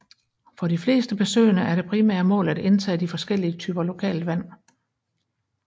For de fleste besøgende er det primære mål at indtage de forskellige typer lokalt vand